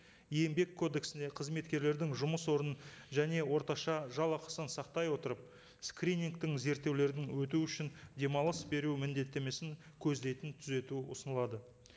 еңбек кодексіне қызметкерлердің жұмыс орнын және орташа жалақысын сақтай отырып скринингтің зерттеулерін өту үшін демалыс беру міндеттемесін көздейтін түзету ұсынылады